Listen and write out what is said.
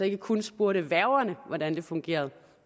ikke kun spurgte værgerne hvordan det fungerede